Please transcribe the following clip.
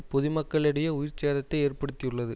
பொது மக்களிடையே உயிர் சேதத்தை ஏற்படுத்தியுள்ளது